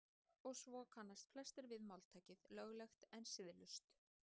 Og svo kannast flestir við máltækið löglegt en siðlaust.